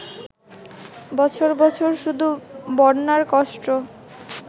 বছর বছর শুধু বন্যার কষ্ট